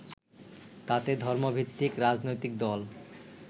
তাতে ধর্মভিত্তিক রাজনৈতিক দল